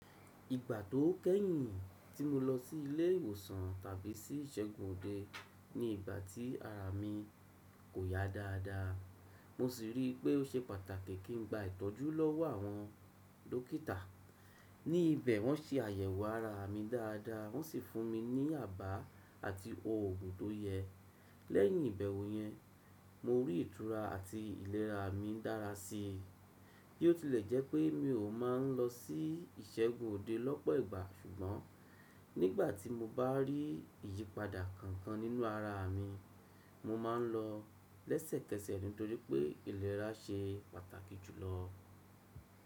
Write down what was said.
Ìgbà tó kẹ́yìn tí mo lọ sí ilé ìwòsàn tàbí sí ìṣègùn òde ni ìgbà tí ara mi kò yá dáadáa, mo sì rí pé ó ṣe pàtàkì kí n gba ìtọ́jú lọ́wọ́ àwọn dókítà. Ní ibẹ̀ wọ́n se àyẹ̀wò ara mi dáadáa wọ́n sì fún mi ní àbá àti òògùn tó yẹ. Lẹ́yìn ìbẹ̀wò yẹn, mo rí ìtura àti ìlera mi dára sí i. Bí ó tilẹ̀ jẹ́ pé mi ò máa ń lọ sí ìṣègùn òde lọ́pọ̀ ìgbà ṣùgbọ́n nígbà tí mo bá rí ìyípadà kankan nínú ara mi, mo máa ń lọ lẹ́sẹ̀kẹsẹ̀ nítorí pé ìlera ṣe pàtàkì jùlọ.